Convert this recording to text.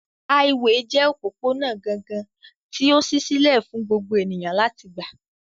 Háíwèè jẹ́ òpópónà gangan tí ó ṣí sílẹ̀ fún gbogbo ènìyàn láti gbà